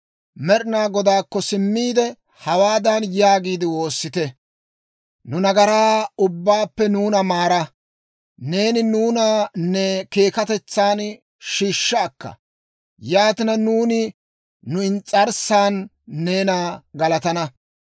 Med'inaa Godaakko simmiide, hawaadan yaagiide woossite; «Nu nagaraa ubbaappe nuuna maara; neeni nuuna ne keekatetsan shiishsha akka; yaatina nuuni nu ins's'arssan neena galatana.